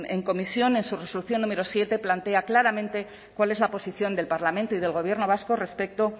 en comisión en su resolución número siete plantea claramente cuál es la posición del parlamento y del gobierno vasco respecto